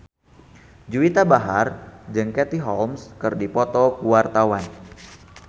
Juwita Bahar jeung Katie Holmes keur dipoto ku wartawan